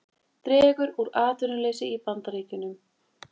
Dregur úr atvinnuleysi í Bandaríkjunum